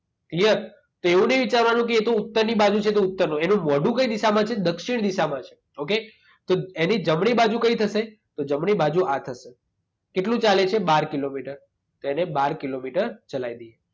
Clear? તો એવું ની વિચારવાનું કે એતો ઉત્તરની બાજુ છે તો ઉત્તરનું. એનું મોંઢું કઈ દિશામાં છે? દક્ષિણ દિશામાં છે. ઓકે? તો એની જમણી બાજુ કઈ થશે? તો જમણી બાજુ આ થશે. કેટલું ચાલે છે? બાર કિલોમીટર. તો એને બાર કિલોમીટર ચલાય દઈએ.